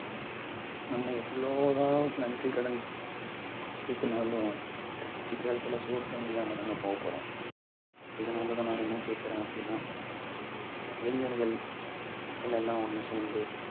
நம்ம எவ்வளவு தான் நன்றிக்கடன் செலுத்தினாலும் கடைசி காலத்துல சோறு, தண்ணி இல்லாமதாங்க போகப்போறோம் இதனாலதான் நான் என்ன கேட்கிறோம் அப்பிடின்னா இளைஞர்கள் மக்கள் எல்லாம் ஒண்ணு சேர்ந்து